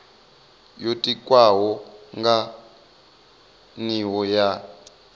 yo tikwaho nga nivho ya